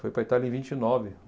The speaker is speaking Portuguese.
Foi para a Itália em vinte e nove